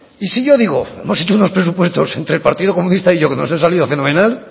y sí yo digo hemos hecho unos presupuestos entre el partido comunista y yo que nos han salido fenomenal